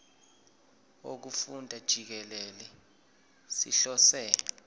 wokufunda jikelele sihlose